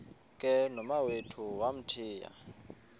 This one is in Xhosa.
ke nomawethu wamthiya